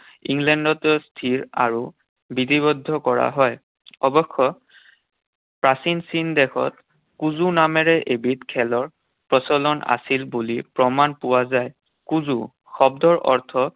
ইংলেণ্ডত স্থিৰ আৰু বিধিবদ্ধ কৰা হয়। অৱশ্য প্ৰাচীন চীন দেশত কুজো নামেৰে এবিধ খেলৰ প্ৰচলন আছিল বুলি প্ৰমাণ পোৱা যায়। কুজো শব্দৰ অৰ্থ